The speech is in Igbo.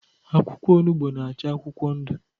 Akwụkwọ ọnugbo na-acha akwụkwọ ndu